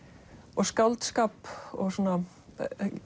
og skáldskap